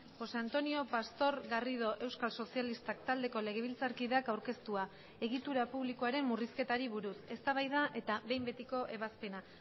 josé antonio pastor garrido euskal sozialistak taldeko legebiltzarkideak aurkeztua egitura publikoaren murrizketari buruz eztabaida eta behin betiko ebazpena